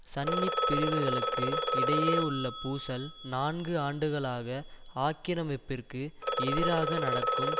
சன்னிப் பிரிவுகளுக்கு இடையே உள்ள பூசல் நான்கு ஆண்டுகளாக ஆக்கிரமிப்பிற்கு எதிராக நடக்கும்